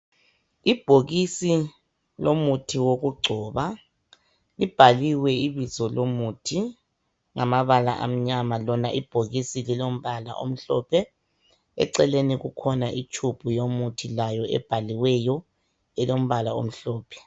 Ibhokisi lomuthi wokugcoba libhaliwe ibizo lomuthi ngamabala amnyama, lona ibhokisi lilombala omhlophe .Eceleni kukhona itshubhu yomuthi layo ebhaliweyo elombala omhlophe.